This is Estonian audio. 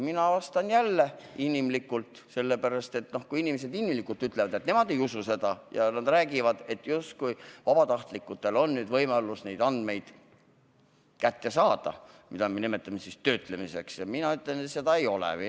Mina jälle inimlikult vastan, sest kui inimesed inimlikult ütlevad, et nemad ei usu, ja räägivad, justkui vabatahtlikel on nüüd võimalus neid andmeid kätte saada – mida me nimetame töötlemiseks –, siis mina ütlen, et see nii ei ole.